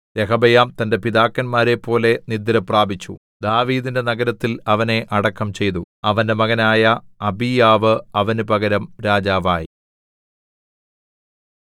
രെഹബെയാം തന്റെ പിതാക്കന്മാരെപ്പോലെ നിദ്രപ്രാപിച്ചു ദാവീദിന്റെ നഗരത്തിൽ അവനെ അടക്കം ചെയ്തു അവന്റെ മകനായ അബീയാവ് അവന് പകരം രാജാവായി